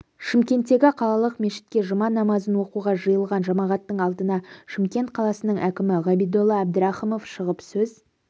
шымкенттегі қалалық мешітке жұма намазын оқуға жиылған жамағаттың алдына шымкент қаласының әкімі ғабидолла әбдірахымов шығып сөз